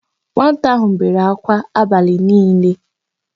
Nwata áhụ̀ bere ákwá abalị niile.